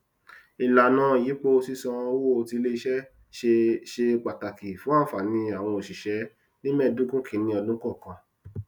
ìlànà ìyípo sísan owó tí iléiṣẹ ṣe ṣe pàtàkì fún ànfààní àwọn oṣiṣẹ ní mẹẹdogun kìíní ọdún kọọkan